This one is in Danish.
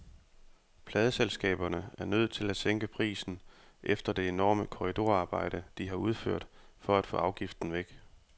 Pladeselskaberne er nødt til at sænke prisen efter det enorme korridorarbejde, de har udført for at få afgiften væk.